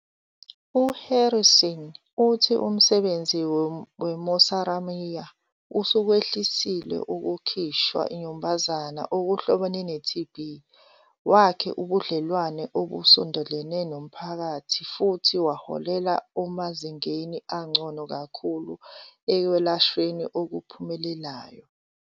U-Harrison uthi umsebenzi we-Mosamaria usukwehlisile ukukhishwa inyumbazane okuhlobene ne-TB, wakhe ubudlelwane obusondelene nomphakathi futhi waholela emazingeni angcono kakhulu ekwelashweni okuphumelelayo.